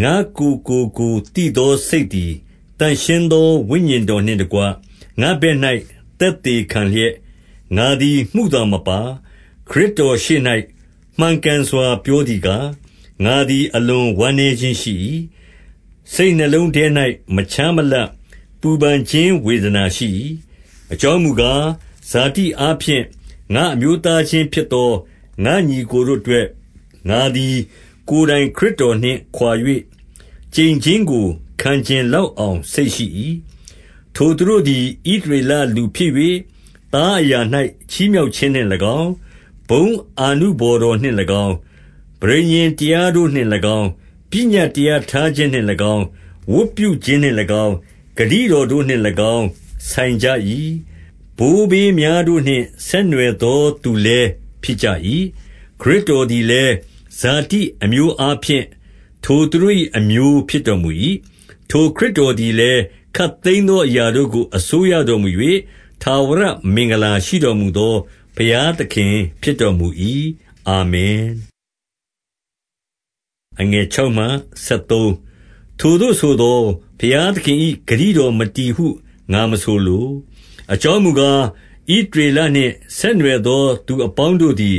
ငါ့ကိုယ်ကိုကိုယ်သိသော စိတ်သည် သန့်ရှင်းသော ဝိညာဉ်တော်နှင့်တကွ ငါ့ဘက်၌ သက်သေခံလျက်၊ ငါသည်မုသာမပါ၊ ခရစ်တော်ရှေ့၌ မှန်ကန်စွာ ပြောသည်ကား၊ 2 ငါသည် အလွန်ဝမ်းနည်းခြင်းရှိ၏။ စိတ်နှလုံး ထဲ၌ မခြားမလပ် ပူပန်ခြင်းဝေဒနာရှိ၏။ 3 အကြောင်းမူကား၊ ဇာတိအားဖြင့် ငါ့အမျိုးသားချင်းဖြစ်သော ငါ့ညီအစ်ကိုတို့အတွက်၊ ငါသည်ကိုယ်တိုင် ခရစ်တော်နှင့်ခွါ၍ ကျိန်ခြင်း ကိုခံချင်လောက်အောင် စိတ်ရှိ၏။ 4 ထိုသူတို့သည် ဣသရေလလူဖြစ်၍၊ သားအရာ၌ ချီးမြှောက်ခြင်းနှင့်၎င်း၊ ဘုန်းအာနုဘော်တော်နှင့်၎င်း၊ ပဋိညာဉ်တရားတို့နှင့်၎င်း၊ ပညတ်တရားထားခြင်းနှင့် ၎င်း၊ ဝတ်ပြုခြင်းနှင့်၎င်း၊ ဂတိတော်တို့နှင့်၎င်း၊ ဆိုင်ကြ၏။ 5 ဘိုးဘေးများတို့နှင့်ဆက်နွယ်သောသူလည်း ဖြစ်ကြ၏။ ခရစ်တော်သည်လည်း၊ ဇာတိအမျိုးအားဖြင့် ထိုသူတို့၏ အမျိုးဖြစ်တော်မူ၏။ ထိုခရစ်တော်သည်လည်း ခပ်သိမ်းသောအရာတို့ကို အစိုးရတော်မူ၍ ထာဝရ မင်္ဂလာရှိတော်မူသော ဘုရားသခင်ဖြစ်တော်မူ၏။ အာမင်။ 6 ထိုသို့ဆိုသော် ဘုရားသခင်၏ ဂတိတော်မတည်ဟု ငါမဆိုလို။ အကြောင်းမူကား၊ ဣသရေလနှင့် ဆက်နွယ်သော သူအပေါင်းတို့သည်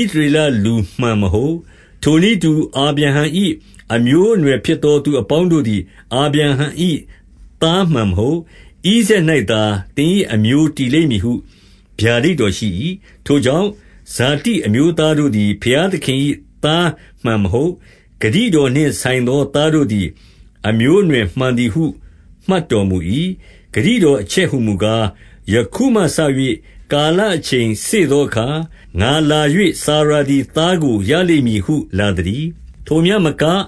ဣသရလလူမှန် မဟုတ်။ 7 ထိုနည်းတူအာဗြဟုံ၏ အမျိုးအနွယ်ဖြစ်သော သူအပေါင်းတို့သည် အာဗြဟံ၏သားမှန်မဟုတ်။ ဣဇာတ် ၌သာ သင်၏အမျိုး တည်လိမ့်မည်ဟု ဗျာဒိတ်တော်ရှိ၏။ 8 ထိုကြောင့်၊ ဇာတိအမျိုးသားတို့သည် ဘုရားသခင်၏သားမှန်မဟုတ်။ ဂတိတော်နှင့်ဆိုင်သော သားတို့သည် အမျိုးအနွယ်မှန်သည်ဟု မှတ်တော်မူ၏။ 9 ဂတိတော်အချက်ဟူမူကား၊ ယခုမှစ၍ ကာလ အချိန်စေ့သောအခါ၊ ငါလာ၍စာရာသည် သားကို ရလိမ့်မည်ဟု လာသတည်း။ 10 ထိုမျှမက၊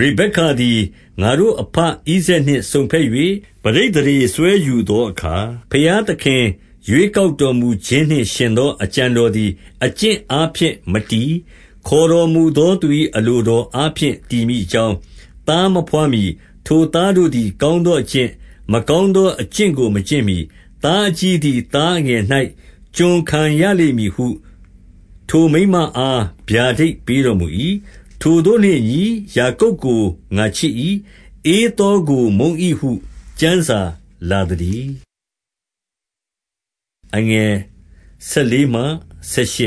ရေဗက္ကသည် ငါတို့ အဘဣဇာက်နှင့် စုံဘက်၍ ပဋိသန္ဓေစွဲယူသောအခါ၊ 11 ဘုရားသခင် ရွေးကောက်တော်မူခြင်းနှင့် ယှဉ်သောအကြံတော်သည် အကျင့်အားဖြင့် မတည်၊ ခေါ်တော်မူသော သူ၏အလိုတော်အားဖြင့်တည်မည် အကြောင်း၊ သားမဘွားမှီ၊ ထိုသားတို့သည် ကောင်းသော အကျင့်၊ မကောင်းသောအကျင့်ကိုမကျင့်မှီ၊ 12 သားအကြီးသည် သားအငယ်၌ ကျွန်ခံရလိမ့်မည်ဟု ထိုမိန်းမအား ဗျာဒိတ်ပေးတော်မူ၏။ 13 ထိုသို့နှင့်အညီ၊ ယာကုပ်ကိုငါချစ်၏။ ဧသောကို မုန်း၏ဟု ကျမ်းစာလာသတည်း။ 14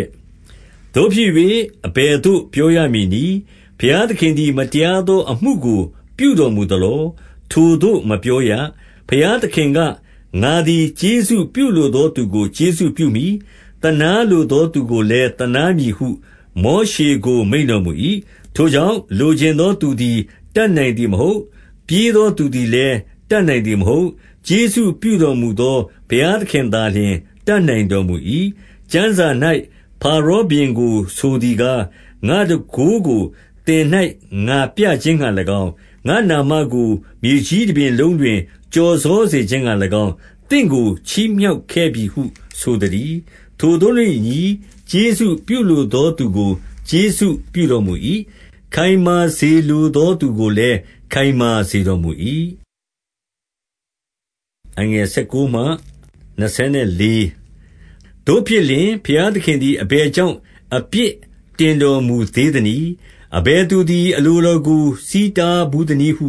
သို့ဖြစ်၍၊ အဘယ်သို့ ပြောရမည်နည်း။ ဘုရားသခင်သည် မတရားသောအမှုကို ပြုတော်မူ သလော။ ထိုသို့မပြောရ။ 15 ဘုရားသခင်က၊ ငါသည်ကျေးဇူးပြုလိုသော သူကိုကျေးဇူးပြုမည်။ သနားလိုသောသူကိုလည်း သနား မည်ဟု မောရှေကို မိန့်တော်မူ၏။ 16 ထိုကြောင့်၊ လိုချင်သောသူသည် တတ်နိုင်သည် မဟုတ်။ ပြေးသောသူသည်လည်း တတ်နိုင်သည်မဟုတ်။ ကျေးဇူးပြုတော်မူသော ဘုရားသခင်သာလျှင် တတ်နိုင် တော်မူ၏။ 17 ကျမ်းစာ၌ ဖာရောဘုရင်ကိုဆိုသည်ကား၊ ငါ့တန်ခိုးကို သင်၌ ငါပြခြင်းငှါ၎င်း၊ ငါ့နာမကို မြေကြီး တပြင်လုံးတွင် ကျော်စောစေခြင်းငှါ၎င်း၊ သင့်ကို ချီးမြှောက်ခဲ့ပြီဟု ဆိုသတည်း။ 18 ထိုသို့နှင့်အညီ၊ ကျေးဇူးပြုလိုသော သူကို ကျေးဇူးပြုတော်မူ၏။ ခိုင်မာစေလိုသော သူကိုလည်း ခိုင်မာစေတော်မူ၏။ 19 သို့ဖြစ်လျှင်၊ ဘုရားသခင်သည်အဘယ်ကြောင့် အပြစ်တင်တော်မူသေးသနည်း။ အဘယ်သူသည် အလိုတော်ကို ဆီးတားဘူးသနည်းဟု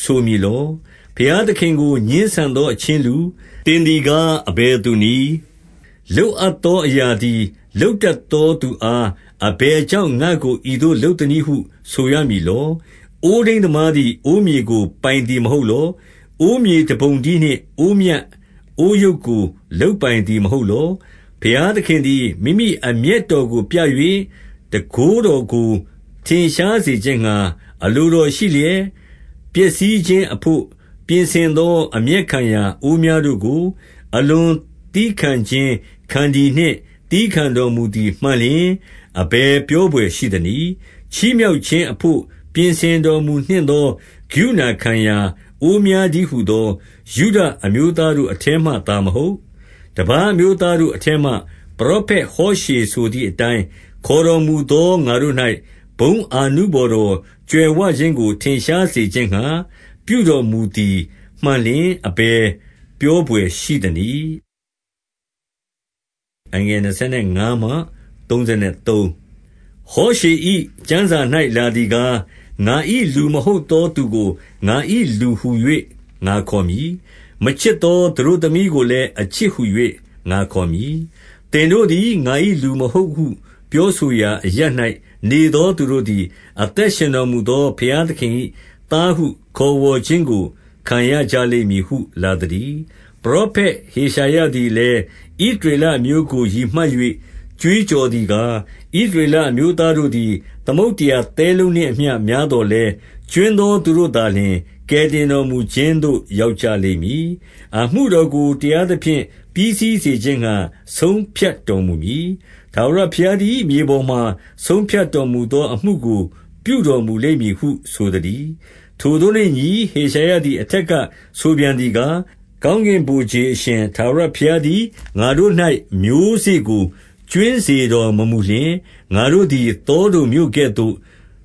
ဆိုမည်လော။ 20 ဘုရားသခင်ကို ငြင်းဆန်သော အချင်းလူ၊ သင်သည်ကား အဘယ်သူနည်း။ လုပ်အပ်သော အရာ သည် လုပ်တတ်သောသူအား၊ အဘယ်ကြောင့် ငါ့ကို ဤသို့လုပ်သနည်းဟု ဆိုရမည်လော။ 21 အိုးထိန်းသမားသည် အိုးမြေကို ပိုင်သည် မဟုတ်လော။ အိုးမြေတပုံတည်းနှင့်အိုးမြတ်၊ အိုးယုတ်ကို လုပ်ပိုင်သည်မဟုတ်လော။ 22 ဘုရားသခင်သည် မိမိအမျက်တော်ကိုပြ၍၊ တန်ခိုးတော်ကို ထင်ရှားစေခြင်းငှါ အလိုတော်ရှိလျက်၊ ပျက်စီးခြင်းအဘို့ ပြင်ဆင်သော အမျက်ရာအိုးများတို့ကို အလွန်သည်းခံခြင်းခန္တီနှင့် သည်းခံတော်မူသည် မှန်လျှင် အဘယ်ပြောဘွယ်ရှိအံ့နည်း။ 23 ချီးမြှောက်ခြင်းအဘို့ပြင်ဆင်တော်မူနှင့်သော ကရုဏာခံရာ အိုးများတည်းဟူသော၊ 24 ယုဒအမျိုးသားတို့အထဲမှသာမဟုတ်၊ တပါး အမျိုးသားတို့အထဲမှ ပရောဖက်ဟောရှေဆိုသည်အတိုင်း ခေါ်တော်မူသော ငါတို့၌ ဘုန်းအာနုဘော်တော် ကြွယ်ဝခြင်းကို ထင်ရှားစေခြင်းငှါ ပြုတော်မူသည် မှန်လျှင်၊ အဘယ်ပြောဘွယ်ရှိအံ့နည်း။ 25 ဟောရှေ၏ ကျမ်းစာ၌ လာသည်ကား၊ ငါ၏ လူမဟုတ်သော သူကိုငါ၏လူဟူ၍ ငါခေါ်မည်။ မချစ်သော သတို့သမီးကိုလည်း အချစ်ဟူ၍ ငါခေါ်မည်။ 26 သင်တို့သည်ငါ၏လူမဟုတ်ဟုပြောဆိုရာ အရပ်၌ နေသောသူတို့သည်၊ အသက်ရှင်တော်မူသော ဘုရား သခင်၏သားဟု ခေါ်ဝေါ်ခြင်းကို ခံရကြလိမ့်မည်ဟု လာသတည်း။ 27 ပရောဖက်ဟေရှာယသည်လည်း၊ ဣသရေလ အမျိုးကို ရည်မှတ်၍ ကြွေးကြော်သည်ကား၊ ဣသရေလ အမျိုးသားတို့သည် သမုဒ္ဒရာသဲလုံးနှင့် အမျှများသော်လည်း၊ ကြွင်းသောသူတို့သာလျှင် ကယ်တင်တော်မူခြင်းသို့ ရောက်ကြလိမ့်မည်။ 28 အမှုတော်ကို တရားသဖြင့် ပြီးစီးစေခြင်းငှါ ဆုံးဖြတ်တော်မူမည်။ ထာဝရဘုရားသည်မြေပေါ်မှာ ဆုံးဖြတ်တော်မူသော အမှုကို ပြုတော်မူလိမ့်မည်ဟု ဆိုသတည်း။ 29 ထိုသို့နှင့်အညီ၊ ဟေရှာယသည် အထက်က ဆိုပြန်သည်ကား၊ ကောင်းကင်ဗိုလ်ခြေအရှင်ထာဝရ ဘုရားသည်ငါတို့၌ မျိုးစေ့ကို ကြွင်းစေတော်မမူလျှင်၊ ငါတို့သည်သောဒုံမြို့ကဲ့သို့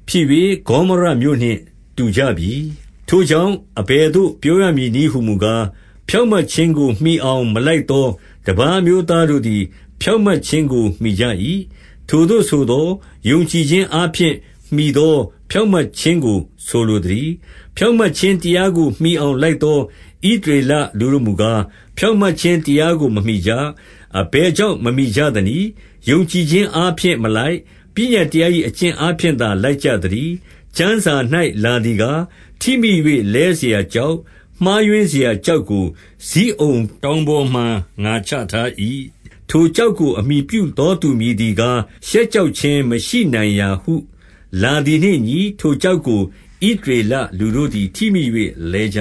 ဖြစ်၍ ဂေါမောရမြို့နှင့် တူကြပြီ။ 30 ထိုကြောင့်၊ အဘယ်သို့ပြောရမည်နည်းဟူမူကား၊ ဖြောင့်မတ်ခြင်းကို မှီအောင် မလိုက်သောတပါး အမျိုးသားတို့သည် ဖြောင့်မတ်ခြင်းကို မှီကြ၏။ ထိုသို့ဆိုသော်၊ ယုံကြည်ခြင်းအားဖြင့် မှီသောဖြောင့်မတ်ခြင်းကို ဆိုလိုသတည်း။ 31 ဖြောင့်မတ်ခြင်းတရားကိုမှီအောင်လိုက်သော ဣသရေလလူတို့မူကား၊ ဖြောင့်မတ်ခြင်းတရားကို မမှီကြ။ 32 အဘယ်ကြောင့် မမှီကြသနည်း။ ယုံကြည်ခြင်း အားဖြင့်မလိုက်၊ ပညတ်တရား၏ အကျင့်အားဖြင့် မလိုက်၊ ပညတ်တရား၏ အကျင့်အားဖြင့်သာ လိုက်ကြ သတည်း။ 33 ကျမ်းစာ၌လာသည်ကား၊ ထိမိ၍ လဲစရာ ကျောက်၊ မှားယွင်းစရာကျောက်ကို ဇိအုန်တောင်ပေါ်မှာ ငါချထား၏။ ထိုကျောက်ကို အမှီပြုသောသူ မည်သည်ကား၊ ရှက်ကြောက်ခြင်းမရှိ နိုင်ရာဟုလာသည်နှင့်မညီ၊ ထိုကျောက်ကို ဣသရေလလူတို့သည် ထိမိ၍ လဲကြ